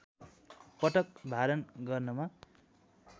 पटक भारण गर्नमा